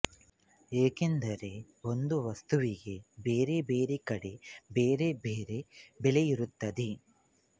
ಏಕೆಂದರೆ ಒಂದೇ ವಸ್ತುವಿಗೆ ಬೇರೆ ಬೇರೆ ಕಡೆ ಬೇರೆ ಬೆರೆ ಬೆಲೆಯಿರುತ್ತದೆ